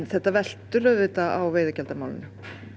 þetta veltur auðvitað á veiðigjaldamálinu